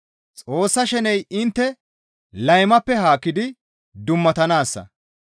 Xoossa sheney intte laymappe haakkidi dummatanaassa.